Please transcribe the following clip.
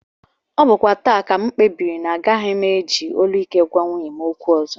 Ọ bụkwa taa ka m kpebiri na agaghị m eji olu ike agwa nwunye m okwu ọzọ